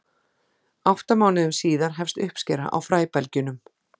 átta mánuðum síðar hefst uppskera á fræbelgjunum